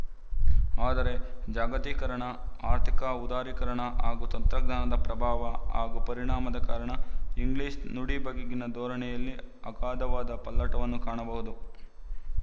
ಆದರೆ ಜಾಗತೀಕರಣ ಆರ್ಥಿಕ ಉದಾರೀಕರಣ ಹಾಗೂ ತಂತ್ರಜ್ಞಾನದ ಪ್ರಭಾವ ಹಾಗೂ ಪರಿಣಾಮದ ಕಾರಣ ಇಂಗ್ಲಿಶ ನುಡಿ ಬಗೆಗಿನ ಧೋರಣೆಯಲ್ಲಿ ಅಗಾಧವಾದ ಪಲ್ಲಟವನ್ನು ಕಾಣಬಹುದು